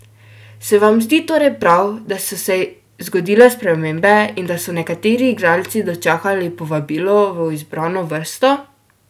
Se vam zdi torej prav, da so se zgodile spremembe in da so nekateri igralci dočakali povabilo v izbrano vrsto?